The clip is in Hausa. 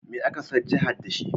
Me aka san jihar da shi?